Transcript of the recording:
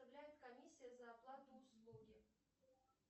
составляет комиссия за оплату услуги